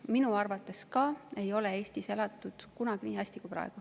Ka minu arvates ei ole Eestis kunagi elatud nii hästi kui praegu.